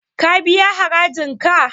Ka biya harajin ka?